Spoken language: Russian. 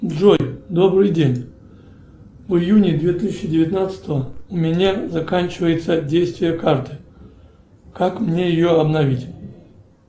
джой добрый день в июне две тысячи девятнадцатого у меня заканчивается действие карты как мне ее обновить